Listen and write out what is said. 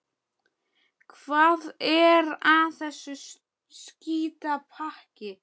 Hvað er að þessu skítapakki?